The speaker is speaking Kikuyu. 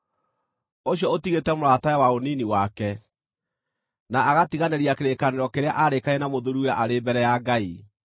ũcio ũtigĩte mũratawe wa ũnini wake, na agatiganĩria kĩrĩkanĩro kĩrĩa aarĩkanĩire na mũthuuriwe arĩ mbere ya Ngai.